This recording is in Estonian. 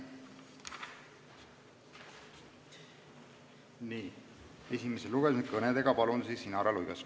Nii, esimesel lugemisel esineb kõnega Inara Luigas.